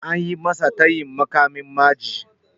Anyi masa tayin muƙamin ma'aji.